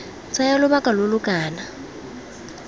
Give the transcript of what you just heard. tsaya lobaka lo lo kana